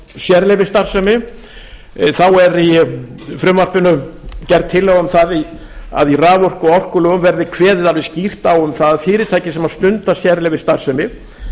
sérleyfisstarfsemi er í frumvarpinu gerð tillaga um að í raforku og orkulögum verði kveðið alveg skýrt á um að að fyrirtæki sem stunda sérleyfisstarfsemi